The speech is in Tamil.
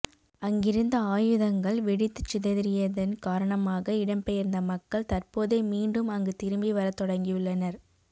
அங்கிருந்த ஆயுதங்கள் வெடித்துச்சிதறியதன் காரணமாக இடம்பெயர்ந்த மக்கள் தற்போதே மீண்டும் அங்கு திரும்பி வரத் தொடங்கியுள்ளனர்